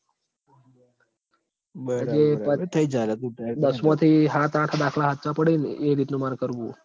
દસમાંથી હાત-આઠ દાખલા હાચા પડી ન એ રીતનું માર કરવું હ